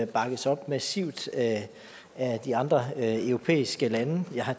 bakkes op massivt af de andre europæiske lande jeg har